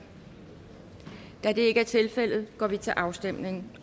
da det ikke er tilfældet går vi til afstemning